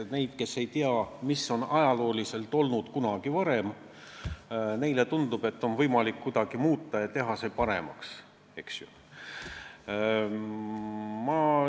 Neile, kes ei tea, mis on ajaloos kunagi varem olnud, tundub, et kuidagi muutes on võimalik asju paremaks teha.